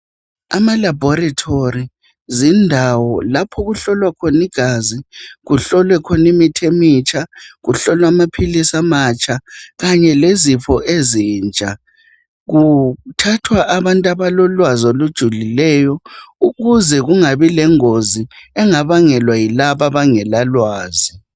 Amalaboratory zindawo lapho okuhlolwa khona igazi kuhlolwe khona imithi emitsha kuhlolwe amaphilisi amatsha kanye lezifo ezintsha. Kuthathwa abantu abalolwazi olujulileyo ukuze kungabi lengozi engabangelwa yilabo abangalalwazi.